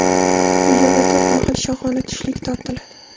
Bu yerda to‘rt mahal shohona tushlik tortiladi.